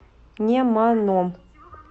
неманом